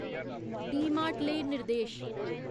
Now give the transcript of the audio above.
डीमार्ट लेई निर्देश